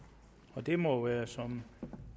og det må også være som